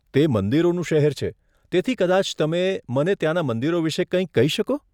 તે મંદિરોનું શહેર છે, તેથી કદાચ તમે મને ત્યાંના મંદિરો વિશે કંઈક કહી શકો?